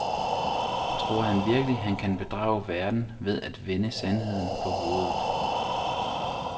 Tror han virkelig, han kan bedrage verden ved at vende sandheden på hovedet.